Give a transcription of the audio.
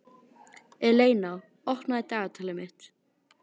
Eleina, opnaðu dagatalið mitt.